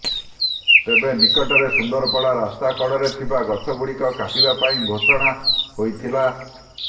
ତେବେ ନିକଟରେ ସୁଦପଡ଼ା ରାସ୍ତା କଡ଼ରେ ଥିବା ଗଛଗୁଡ଼ିକ କାଟିବା ପାଇଁ ଘୋଷଣା ହୋଇଥିଲା